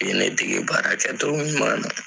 U ye ne dege baara kɛcogo ɲuman na.